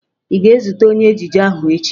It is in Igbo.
Ị ga-ezute onye ejije ahụ echi!